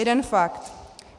Jeden fakt.